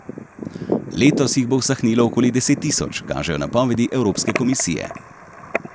Letos jih bo usahnilo okoli deset tisoč, kažejo napovedi Evropske komisije.